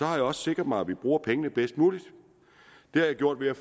har jeg også sikret mig at vi bruger pengene bedst muligt det har jeg gjort ved at